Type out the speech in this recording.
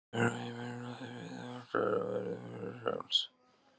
Þegar heimurinn blasir við okkur og við verðum frjáls.